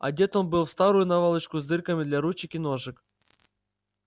одет он был в старую наволочку с дырками для ручек и ножек